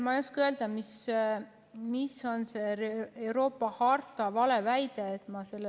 Ma ei oska öelda, mis on see Euroopa harta valeväide.